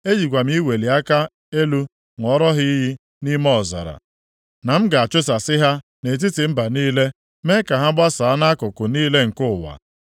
E jikwa m iweli aka elu ṅụọrọ ha iyi nʼime ọzara, na m ga-achụsasị ha nʼetiti mba niile, mee ka ha gbasaa nʼakụkụ niile nke ụwa,